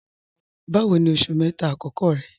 Báwò ní oṣù mẹ́ta akọkọ rẹ̀?